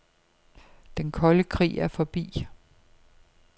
Den kolde krig er forbi.